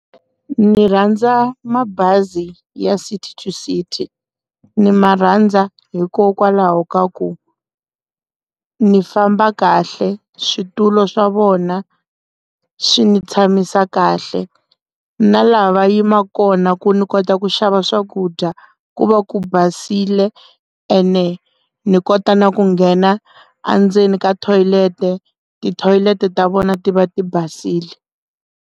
Ni rhandza mabazi ya City to city ni ma rhandza hikokwalaho ka ku ni famba kahle switulu swa vona swi ni tshamisa kahle na laha va yima kona ku ni kota ku xava swakudya ku va ku basile ene ni kota na ku nghena endzeni ka tithoyileti tithoyileti ta vona ti va ti basile.